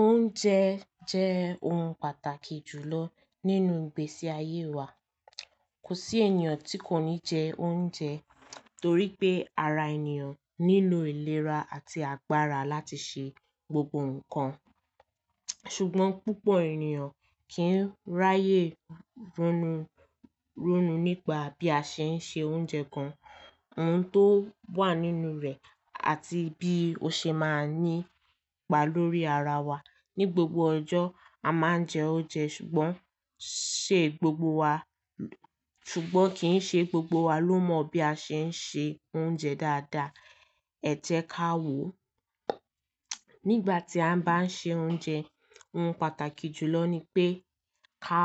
Oúnjẹ jẹ́ ohun pàtàkì jùlọ nínú ìgbésí ayé wa. Kò sí ènìyàn tí kò ní jẹ oúnjẹ torí pé ara ènìyàn nílò ìlera àti agbára láti ṣe gbogbo ǹkan. Ṣùgbọ́n púpọ̀ ènìyàn kì í ráyè ronú, ronú nípa bí a ṣe ń se oúnjẹ kan, ohun tó wà nínú rẹ̀ àti bí ó ṣe máa ń ní ipa lórí ara wa. Ni gbogbo ọjọ́, a máa ń jẹ oúnjẹ ṣùgbọ́n ṣe gbogbo wa, ṣùgbọ́n kì í ṣe gbogbo wa ló mọ bí a ṣe ń se oúnjẹ dáadáa. Ẹ jẹ ká wò. Nígbà tí a bá ń se oúnjẹ, ohun pàtàkì jùlọ ni pé ká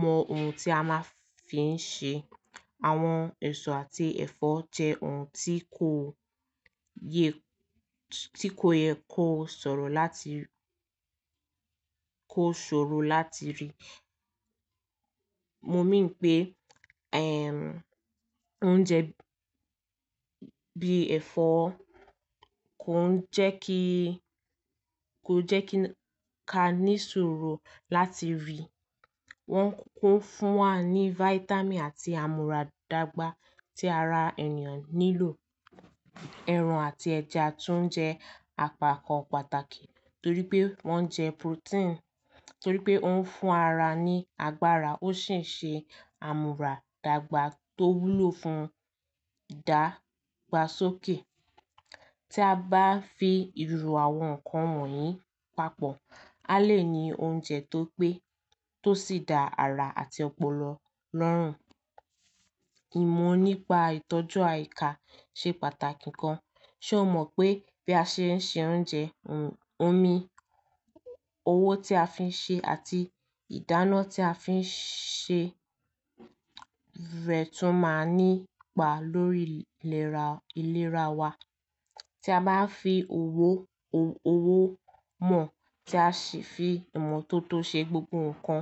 mọ ohun tí a máa fi ń ṣe. Àwọn èso àti ẹ̀fọ́ jẹ́ ohun tí kò yẹ, tí kò yẹ kó sọ̀rọ̀ láti, kó ṣòro láti rí. Mo mìín pé, eh, oúnjẹ bí ẹ̀fọ́ kò ń jẹ́ kí, kò jẹ́ kí a ní ṣòro láti rí. Wọ́n ń kó fún wa ní vitamin àti àmúradágba tí ara ènìyàn nílò. Ẹran àti ẹja tún jẹ́ àpakàn pàtàkì torí pé wọ́n ń jẹ protein, torí pé ó ń fún ara ní agbára ó sì ń ṣe àmúradágba tó wúlò fún ìdágbásókè. Tí a bá fi ìrù àwọn ǹkan wọ̀nyí papọ̀, a lè ní oúnjẹ tó pé, tó sì dá ara àti ọpọlọ lọ́rùn. Ìmọ̀ nípa ìtọ́jú àìká ṣe pàtàkì kan. Ṣé o mọ̀ pé bí a ṣe ń ṣe oúnjẹ, ohun, omi, owó tí a fi ń ṣe àti ìdáná tí a fi ń ṣe rẹ̀ tún máa ń ní ipa lórí ìlera, ìlera wa. Tí a bá fi owó, owó mọ̀ tí a sì fi ìmọ̀ tó tó ṣe gbogbo ǹkan,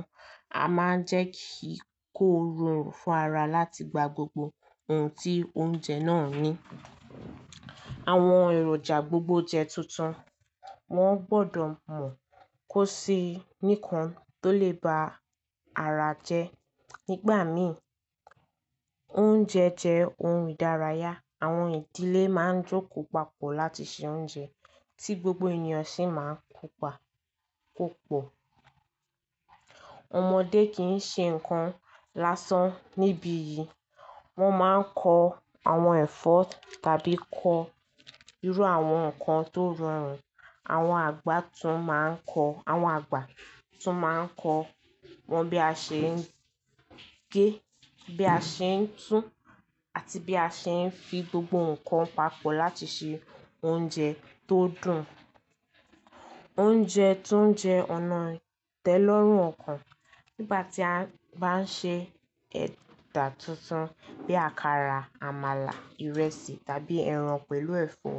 a máa ń jẹ́ kí kó rọrùn fún ara láti gba gbogbo ohun tí oúnjẹ náà ní. Àwọn èròjà gbogbo jẹ́ tuntun, wọ́n gbọdọ̀ mọ̀ kó sí nìkan tó lè ba ara jẹ́. Nígbà míì, oúnjẹ jẹ́ ohun ìdárayá. Àwọn ìdílé máa ń jókòó papọ̀ láti ṣe oúnjẹ tí gbogbo ènìyàn sì máa ń kópa, kópo. Ọmọdé kì í ṣe nǹkan lásán níbi yìí. Wọ́n máa ń kọ àwọn ẹ̀fọ́ tàbí kọ irú àwọn ǹkan tó rọrùn. Àwọn àgbà tún máa ń kọ̀, àwọn àgbà tún máa ń kọ wọ́n bí a ṣe ń gé, bí a ṣe ń tú àti bí a ṣe ń fi gbogbo ǹkan papọ̀ láti ṣe oúnjẹ tó dùn. Oúnjẹ tún jẹ́ ọ̀nà ìtẹ́ lọ́rùn ọ̀kan. Nígbà tí a bá ń ṣe ẹ̀dà tuntun bí àkàrà, àmàlà, ìrẹsì tàbí ẹran pẹ̀lú ẹ̀fọ́,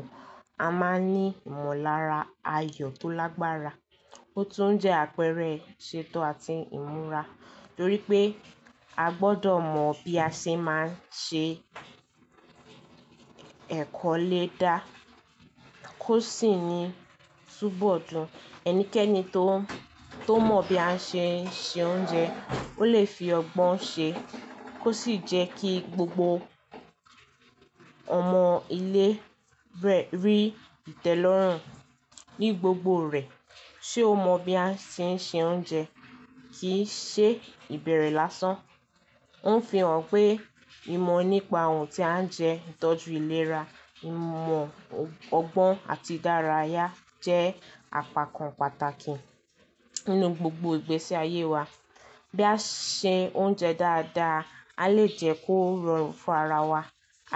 a máa ń ní ìmọ̀lára ayọ̀ tó lágbára. Ó tún jẹ́ àpẹẹrẹ ìṣetọ àti ìmúra torí pé a gbọdọ̀ mọ̀ bí a ṣe máa ń ṣe ẹ̀kọ́ lè dá kó sì ni túbọ̀ dùn. Ẹnikẹ́ni tó, tó mọ̀ bí a ṣe ń ṣe oúnjẹ, ó lè fi ọgbọ́n ṣe kó sì jẹ́ kí gbogbo ọmọ ilé rẹ̀ rí ìtẹ́lọ́rùn ní gbogbo rẹ̀. Ṣé o mọ bí a ṣe ń ṣe oúnjẹ kì í ṣe ìbẹ̀rẹ̀ lásán. Òfin ò ń pé ìmọ̀ nípa ohun tí à ń jẹ, ìtọ́jú ìlera, ìmọ̀ ọgbọ́n àti ìdárayá jẹ́ àpakàn pàtàkì nínú gbogbo ìgbésí ayé wa. Bí a ṣe ń ṣe oúnjẹ dáadáa, a lè jẹ́ kó rọrùn fún ara wa.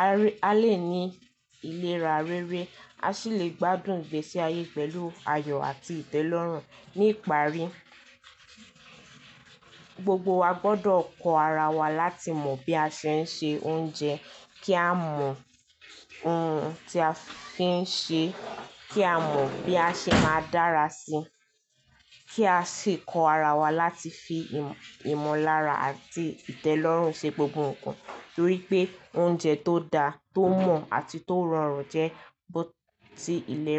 A lé, a lè ní ìlera rere, a sì lè gbádùn ìgbésí ayé pẹ̀lú ayọ̀ àti ìtẹ́lọ́rùn. Ní ìparí, gbogbo wa gbọdọ̀ kọ ara wa láti mọ bí a ṣe ń ṣe oúnjẹ kí a mọ ohun tí a fi ń ṣe, kí a mọ bí a ṣe máa dára sí i, kí a sì kọ ara wa láti fi ìmọ̀lára àti ìtẹ́lọ́rùn ṣe gbogbo ǹkan torí pé oúnjẹ tó dáa, tó mọ̀ àti tó rọrùn jẹ́ bó ti ilẹ̀.